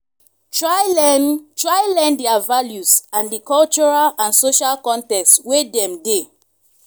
try learn try learn their values and di cultural and social context wey dem dey